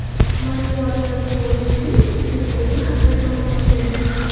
Matbuot Yanukovichning uchinchi o‘g‘li haqida ma’lumot berdi.